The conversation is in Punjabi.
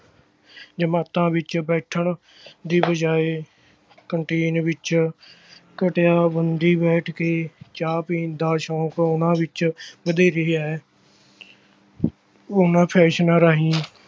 ਜਮਾਤਾਂ ਵਿੱਚ ਬੈਠਣ ਦੀ ਬਜਾਏ canteen ਵਿੱਚ ਘਟੀਆ ਬੰਦੀ ਬੈਠ ਕੇ ਚਾਹ ਪੀਣ ਦਾ ਸੌਂਕ ਉਹਨਾਂ ਵਿੱਚ ਵਧੇਰੇ ਹੈ ਉਹਨਾਂ ਫੈਸ਼ਨਾਂ ਰਾਹੀਂ